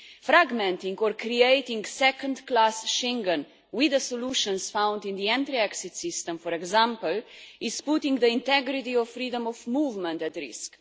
Fragmenting, or creating a second class Schengen, with the solutions found in the entry exit system for example, is putting the integrity of freedom of movement at risk.